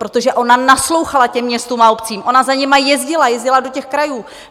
Protože ona naslouchala těm městům a obcím, ona za nimi jezdila, jezdila do těch krajů!